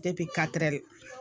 katɛrɛ